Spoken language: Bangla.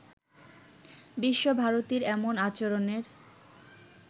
বিশ্বভারতীর এমন আচরণের